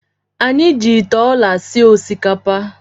Anyị ji ite ọla sie osikapa.